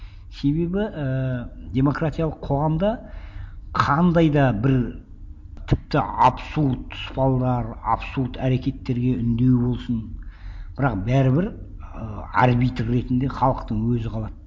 себебі ііі демократиялық қоғамда қандай да бір тіпті абсурд салдар абсурд әрекеттерге үндеу болсын бірақ бәрібір ыыы арбитр ретінде халықтың өзі қалады